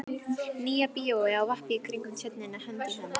Nýja bíói á vappi í kringum Tjörnina hönd í hönd.